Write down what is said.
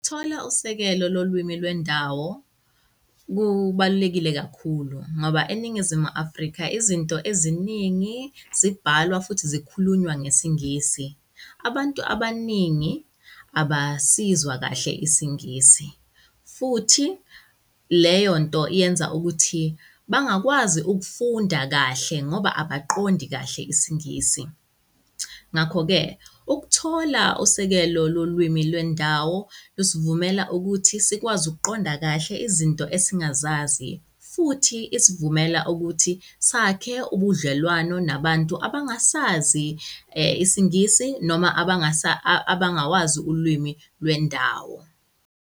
Ukuthola usekelo lolwimi lwendawo kubalulekile kakhulu ngoba eNingizimu Afrika, izinto eziningi zibhalwa futhi zikhulunywa ngesiNgisi. Abantu abaningi abasizwa kahle isiNgisi futhi leyonto iyenza ukuthi bangakwazi ukufunda kahle ngoba abaqondi kahle isiNgisi. Ngakho-ke ukuthola usekelo lolwimi lwendawo lusivumela ukuthi sikwazi ukuqonda kahle izinto esingazazi futhi isivumela ukuthi sakhe ubudlelwano nabantu abangasazi isiNgisi noma abangasa abangawazi ulwimi lwendawo.